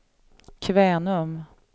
Kvänum